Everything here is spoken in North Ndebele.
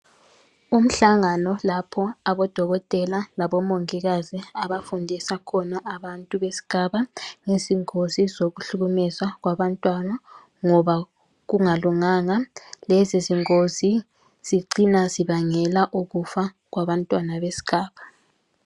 Umhlangano lapho abodokotela labomongikazi abafundisa khona abantu besigaba ngezingozi zokuhlukumezwa kwabantwana ngoba kungalunganga .Lezi zingozi zicina zibangela ukufa kwabantwana besigaba.